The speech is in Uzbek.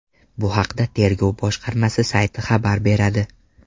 Bu haqda tergov boshqarmasi sayti xabar beradi.